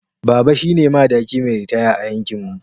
Baba shine madaki mai ritaya a yankinmu.